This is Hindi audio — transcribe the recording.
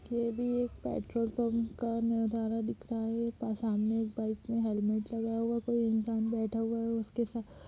ये भी एक पेट्रोल पंप का नजारा दिख रहा है सामने एक बाइक पे पर हेलमेट लगाया हुआ कोई इंसान बैठा हुआ है और उसके साथ --